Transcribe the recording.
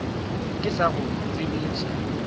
ke se ka go tsebiša